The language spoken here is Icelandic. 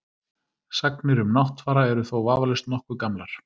Sagnir um Náttfara eru þó vafalaust nokkuð gamlar.